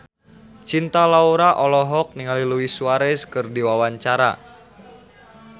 Cinta Laura olohok ningali Luis Suarez keur diwawancara